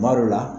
Kuma dɔ la